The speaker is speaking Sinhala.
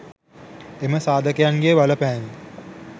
එම සාධකයන්ගේ බලපෑම